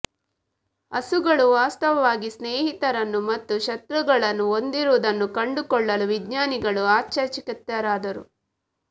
ಹಸುಗಳು ವಾಸ್ತವವಾಗಿ ಸ್ನೇಹಿತರನ್ನು ಮತ್ತು ಶತ್ರುಗಳನ್ನು ಹೊಂದಿರುವುದನ್ನು ಕಂಡುಕೊಳ್ಳಲು ವಿಜ್ಞಾನಿಗಳು ಆಶ್ಚರ್ಯಚಕಿತರಾದರು